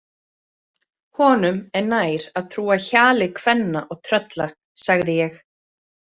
Honum er nær að trúa hjali kvenna og trölla, sagði ég.